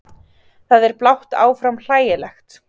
Það er blátt áfram hlægilegt.